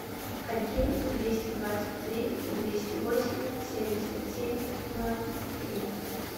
один двести двадцать три двести восемь семьдесят семь ноль три